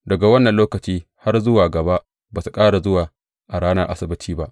Daga wannan lokaci har zuwa gaba ba su ƙara zuwa a ranar Asabbaci ba.